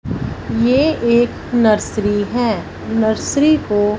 ये एक नर्सरी है नर्सरी को--